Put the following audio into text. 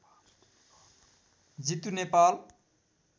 Jitu Nepal